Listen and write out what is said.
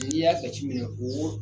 N'i y'a jate minɛn o